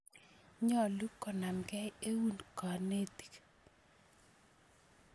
Nyalu konamkei eun kanetik